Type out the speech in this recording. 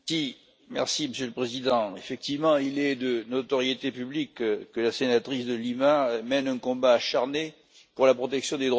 Monsieur le Président, effectivement, il est de notoriété publique que la sénatrice De Lima mène un combat acharné pour la protection des droits de l'homme.